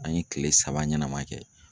An ye kile saba ɲɛnama kɛ